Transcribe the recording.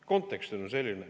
Kontekst on selline.